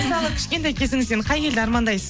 мысалы кішкентай кезіңізден қай елді армандайсыз